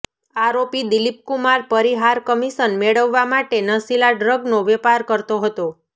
આરોપી દિલીપકુમાર પરિહાર કમિશન મેળવવા માટે નશીલા ડ્રગનો વેપાર કરતો હતો